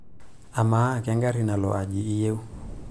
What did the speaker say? amaa kengarri nalo ai iyieu